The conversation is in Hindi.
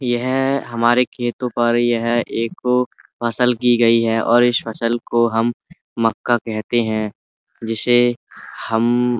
यह हमारे खेतों पर यह एक फसल की गई है और इस फसल को हम मक्का कहते हैं। जिसे हम --